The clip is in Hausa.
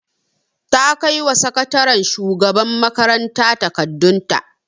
Ta kaiwa sakataren shugaban makaranta takardun ta